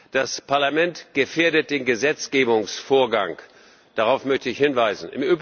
Das Parlament gefährdet den Gesetzgebungsvorgang darauf möchte ich hinweisen.